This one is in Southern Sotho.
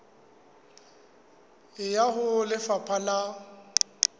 e ya ho lefapha la